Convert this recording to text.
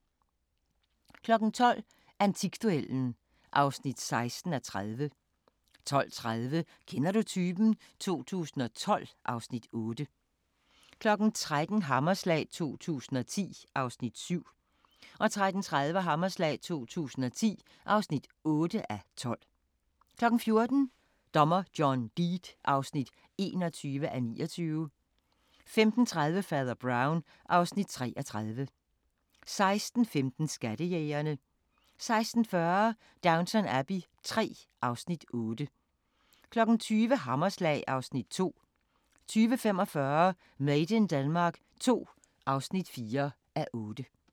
12:00: Antikduellen (16:30) 12:30: Kender du typen? 2012 (Afs. 8) 13:00: Hammerslag 2010 (7:12) 13:30: Hammerslag 2010 (8:12) 14:00: Dommer John Deed (21:29) 15:30: Fader Brown (Afs. 33) 16:15: Skattejægerne 16:40: Downton Abbey III (Afs. 8) 20:00: Hammerslag (Afs. 2) 20:45: Made in Denmark II (4:8)